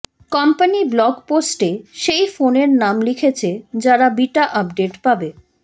company blog পোস্টে সেই ফোনের নাম লিখেছে যারা বিটা আপডেট পাবে